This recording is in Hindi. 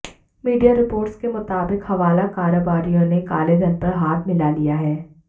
मीडिया रिपोर्ट्स के मुताबिक हवाला कारोबारियों ने कालेधन पर हाथ मिला लिया है